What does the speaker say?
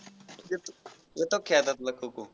येतो येतो का खेळायला तुला खो खो.